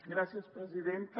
gràcies presidenta